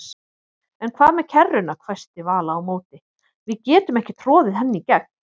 En hvað með kerruna hvæsti Vala á móti, við getum ekki troðið henni í gegn